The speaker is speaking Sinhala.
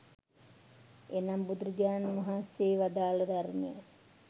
එනම් බුදුරජාණන් වහන්සේ වදාළ ධර්මය